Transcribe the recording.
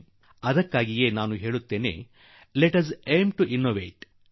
ಆದುದರಿಂದಲೇ ನಾನು ಹೇಳುವುದು ನಾವು ಅನ್ವೇಷಿಸುವ ಗುರಿ ಹೊಂದೋಣ ಎಂದು